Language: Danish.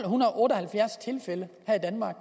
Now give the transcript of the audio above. otte og halvfjerds tilfælde her i danmark